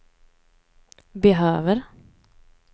behöver